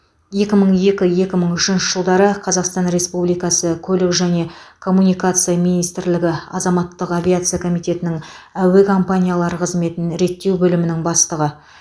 екі мың екі екі мың үшінші жылдары қазақстан республикасы көлік және коммуникация министрлігі азаматтық авиация комитетінің әуе компаниялар қызметін реттеу бөлімінің бастығы